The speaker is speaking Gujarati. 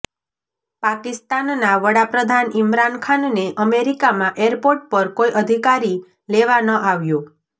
પાકિસ્તાનના વડાપ્રધાન ઈમરાન ખાનને અમેરિકામાં એરપોર્ટ પર કોઈ અધિકારી લેવા ન આવ્યો